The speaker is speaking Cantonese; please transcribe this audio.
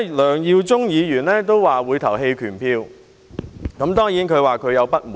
梁耀忠議員表示會在表決時棄權，因為他感到不滿。